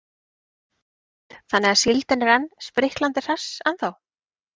Hrund: Þannig að síldin er spriklandi og hress ennþá?